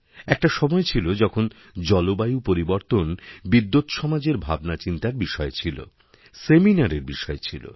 একটা সময় ছিল যখন জলবায়ু পরিবর্তন বিদ্ব্যৎসমাজের ভাবনাচিন্তারবিষয় ছিল সেমিনারের বিষয় ছিল